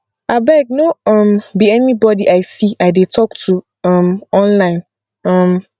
abeg no um be anybody i see i dey talk to um online um